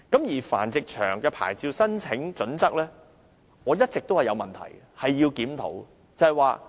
至於繁殖場的牌照申請準則，我一直認為有問題，需要檢討。